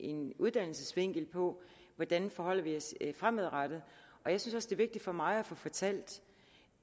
en uddannelsesvinkel på hvordan forholder vi os fremadrettet jeg synes er vigtigt for mig at få fortalt